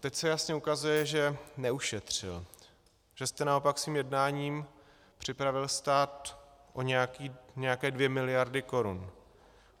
Teď se jasně ukazuje, že neušetřil, že jste naopak svým jednáním připravil stát o nějaké dvě miliardy korun.